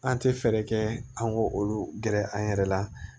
An tɛ fɛɛrɛ kɛ an k'olu gɛrɛ an yɛrɛ la